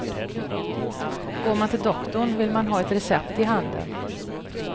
Går man till doktorn vill man ha ett recept i handen.